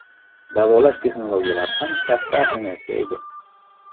Davolash texnologiyalari ham katta ahamiyatga ega.